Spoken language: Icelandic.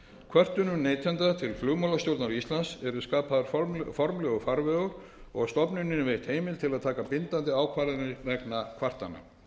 kvörtunum neytenda til flugmálastjórnar íslands er skapaður formlegur farvegur og stofnuninni veitt heimild til að taka bindandi ákvarðanir vegna kvartana